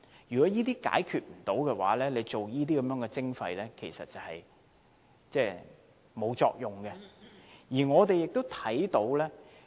如果未能解決這些問題便推行垃圾徵費，其實是沒有作用的。